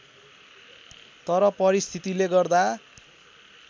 तर परिस्थितिले गर्दा